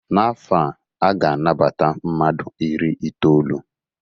N'afọ a, a ga-anabata mmadụu iri itolu.